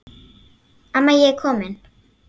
Amma ég er komin